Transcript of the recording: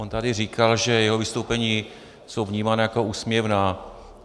On tady říkal, že jeho vystoupení jsou vnímána jako úsměvná.